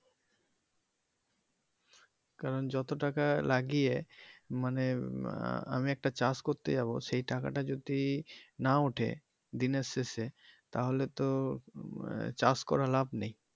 কারন যত টাকা লাগিয়ে মানে আহ আমি একটা চাষ করতে যাবো সেই টাকা টা যদি না উঠে দিনের শেষে তাহলে তো আহ চাষ করে লাভ নেই।